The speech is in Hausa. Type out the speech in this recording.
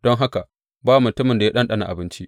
Don haka ba mutumin da ya ɗanɗana abinci.